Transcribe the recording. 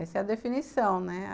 Essa é a definição, né?